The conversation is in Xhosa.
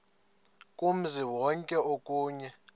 kumzi wonke okanye